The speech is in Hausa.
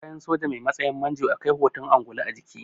Kayan soja mai matsayin manjo akwai hoton angulu a jiki